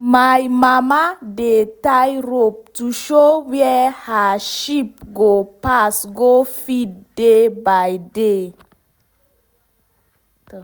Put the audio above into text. my mama dey help tie rope to show where her sheep go pass go feed day by day.